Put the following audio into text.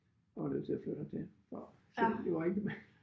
Var jo nødt til at flytte hertil så så det var ikke med